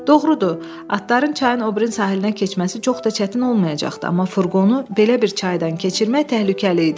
Doğrudur, atların çayın o biri sahilinə keçməsi çox da çətin olmayacaqdı, amma furqonu belə bir çaydan keçirmək təhlükəli idi.